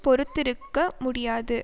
பொறுத்திருக்க முடியாது